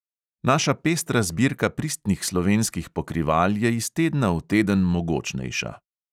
Naša pestra zbirka pristnih slovenskih pokrival je iz tedna v teden mogočnejša.